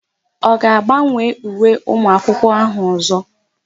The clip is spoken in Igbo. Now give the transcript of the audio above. Ọ ga-agbanwe uwe ụmụakwụkwọ áhụ̀ ọ̀zọ́?